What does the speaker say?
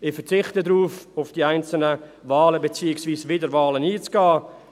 Ich verzichte darauf, auf die einzelnen Wahlen beziehungsweise Wiederwahlen einzugehen.